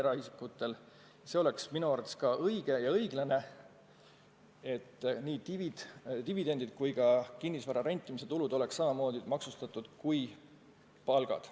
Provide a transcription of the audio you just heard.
Ka minu arvates oleks õige ja õiglane, et nii dividendid kui ka kinnisvara rentimise tulud oleks samamoodi maksustatud kui palgad.